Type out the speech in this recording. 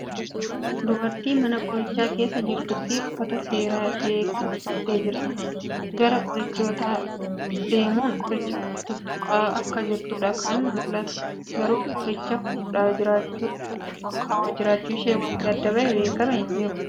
Dubartii mana qorichaa keessa jirtuu fi uffata seeraa ishee kan uffattee jirtuudha. Gara qorichootaa deemun qoricha tuttuqaa akka jirtuudha kan mul'atu, Garuu qoricha fuudhaa jiraachuu olkaawaa jiraachuu ishee wanti adda bahee beekkame hin jiru.